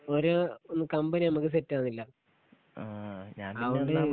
ഒര് കമ്പനി നമുക്ക് സെറ്റാവുന്നില്ല അതോണ്ട്